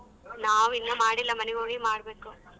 ನಾವಿನ್ನ ಮಾಡಿಲ್ಲ ಮನೆಗೋಗಿ ಮಾಡ್ಬೇಕು.